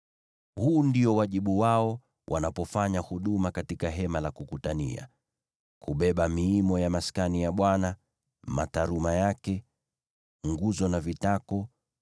Huu ndio wajibu wao wanapofanya huduma katika Hema la Kukutania: kubeba miimo ya Maskani, mataruma yake, nguzo na vitako,